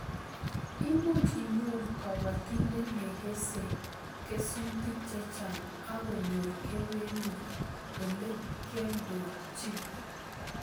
Imuch inyoru kobotindet nekesei kesutik chechang akonyor kewelut Ole kioldochin